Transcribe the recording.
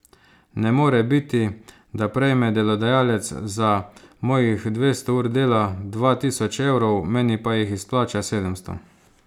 Ne more biti, da prejme delodajalec za mojih dvesto ur dela dva tisoč evrov, meni pa jih izplača sedemsto.